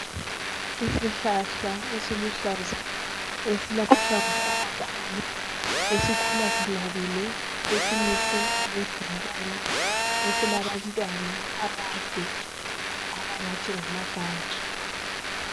Isihlahla esiluhlaza esilamahlamvu amakhulu esikhula sinabile esimise okwebhokola esilabantwana abade abangathi ngamagage